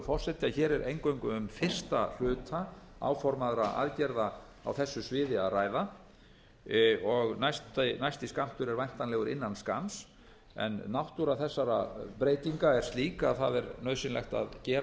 forseti að hér er eingöngu um fyrsta hluta áformaðra aðgerða á þessu sviði að ræða næsti skammtur er væntanlegur innan skamms en náttúra þessara breytinga er slík að nauðsynlegt er að gera